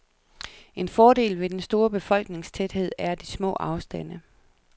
En fordel ved den store befolkningstæthed er de små afstande.